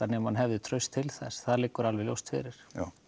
nema hann hefði traust til þess það liggur ljóst fyrir